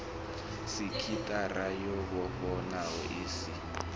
sekithara yo vhofhanaho i si